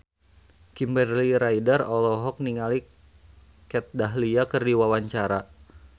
Kimberly Ryder olohok ningali Kat Dahlia keur diwawancara